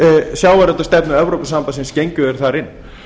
sjávarútvegsstefnu evrópusambandsins gengu þeir þar inn